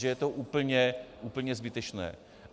Že je to úplně zbytečné.